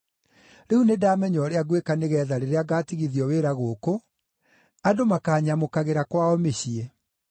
Rĩu nĩndamenya ũrĩa ngwĩka nĩgeetha rĩrĩa ngaatigithio wĩra gũkũ, andũ makaanyamũkagĩra kwao mĩciĩ.’